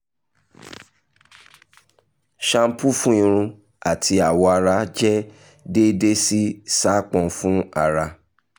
shampoo fun irun ati awọ ara jẹ deede si sápọn fun ara